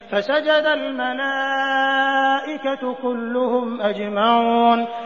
فَسَجَدَ الْمَلَائِكَةُ كُلُّهُمْ أَجْمَعُونَ